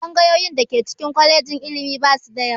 Tsangayoyin da ke ciki kwalejin ilimi ba su da yawa